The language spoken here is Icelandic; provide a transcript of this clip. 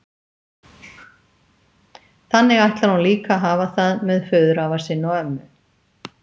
Þannig ætlar hún líka að hafa það með föðurafa sinn og-ömmu.